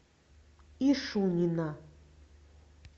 ишунина